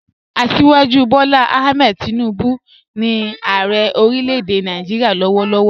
Asíwájú Bọ́lá Àhmẹ̀d Tìnúbu ni Ààrẹ̀ orílẹ̀-èdè Nàìjíríà lọ́wọ̀lọ́wọ̀